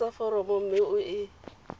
tlatsa foromo mme o e